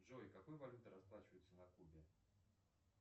джой какой валютой расплачиваются на кубе